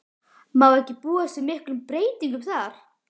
Má ekki búast við miklum breytingum þar?